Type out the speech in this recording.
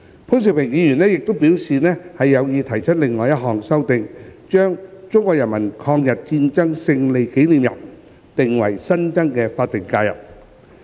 潘兆平議員亦表示有意提出另一項修正案，將中國人民抗日戰爭勝利紀念日訂為新增的法定假日。